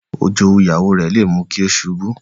Ijowu Ìyàwó rẹ̀ lè mú kí ó ṣubú